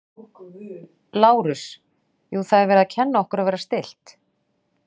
Lárus: Jú, það er verið að kenna okkur að vera stillt.